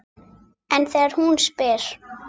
En þegar hún spyr